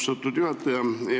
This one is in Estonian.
Aitäh, austatud juhataja!